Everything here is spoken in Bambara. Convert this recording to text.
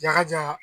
Jakaja